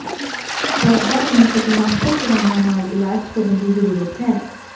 ਪੌਦਾ ਨੂੰ ਕੀਟਨਾਸ਼ਕ ਦਵਾਈਆਂ ਨਾਲ ਇਲਾਜ ਕਰਨ ਦੀ ਜ਼ਰੂਰਤ ਹੈ